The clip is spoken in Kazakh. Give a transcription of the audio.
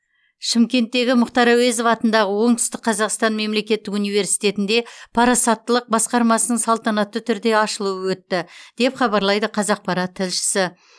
шымкенттегі мұхтар әуезов атындағы оңтүстік қазақстан мемлекеттік университетінде парасаттылық басқармасының салтанатты түрде ашылуы өтті деп хабарлайды қазақпарат тілшісі